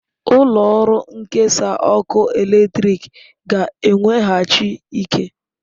Ụlọ ọrụ nkesa ọkụ eletrik ga-eweghachi ike.